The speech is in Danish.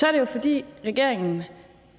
er det jo fordi regeringen